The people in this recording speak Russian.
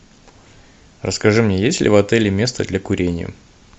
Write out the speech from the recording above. расскажи мне есть ли в отеле место для курения